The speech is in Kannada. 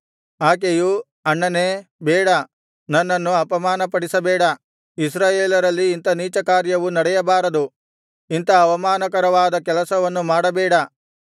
ಆಕೆಯು ಅಣ್ಣನೇ ಬೇಡ ನನ್ನನ್ನು ಅಪಮಾನಪಡಿಸಬೇಡ ಇಸ್ರಾಯೇಲರಲ್ಲಿ ಇಂಥ ನೀಚಕಾರ್ಯವು ನಡೆಯಬಾರದು ಇಂಥ ಅವಮಾನಕರವಾದ ಕೆಲಸವನ್ನು ಮಾಡಬೇಡ